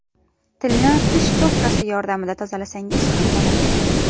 Tilni tish cho‘tkasi yordamida tozalasangiz ham bo‘ladi.